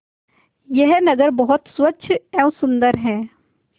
यह नगर बहुत स्वच्छ एवं सुंदर है